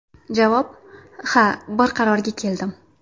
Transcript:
Javob: Ha, bir qarorga keldim.